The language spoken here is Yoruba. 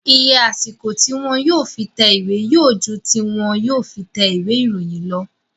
Iye àsìkò tí wọn yóò fi tẹ ìwé yóò ju tí wọn yóò fi tẹ ìwé ìròyìn lọ